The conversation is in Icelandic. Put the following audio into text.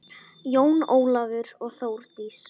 Jón Ólafur og Þórdís.